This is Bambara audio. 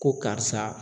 Ko karisa